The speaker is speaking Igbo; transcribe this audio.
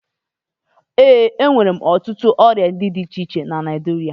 E nwere ọtụtụ ụdị ọrịa di iche iche na Naịjirịa.